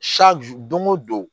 don go don